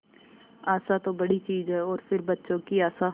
आशा तो बड़ी चीज है और फिर बच्चों की आशा